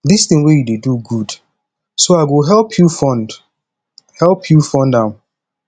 dis thing wey you dey do good so i go help you fund help you fund am